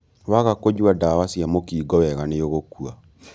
Waga kunyua ndawa cia mũkingo wega nĩũgũkua.